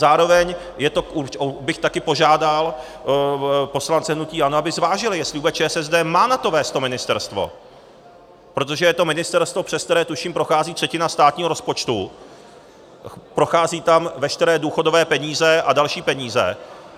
Zároveň bych taky požádal poslance hnutí ANO, aby zvážili, jestli vůbec ČSSD má na to vést to ministerstvo, protože je to ministerstvo, přes které, tuším, prochází třetina státního rozpočtu, prochází tam veškeré důchodové peníze a další peníze.